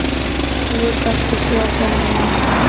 Hún vill ekki sjá þennan mann.